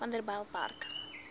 vanderbijlpark